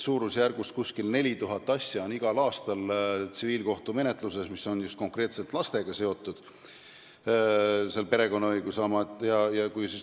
Umbes 4000 asja igal aastal on tsiviilkohtumenetluses konkreetselt lastega seotud, need on perekonnaõiguse asjad.